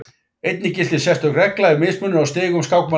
Einnig gilti sérstök regla ef mismunur á stigum skákmanna var mikill.